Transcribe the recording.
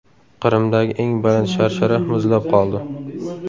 Qrimdagi eng baland sharshara muzlab qoldi .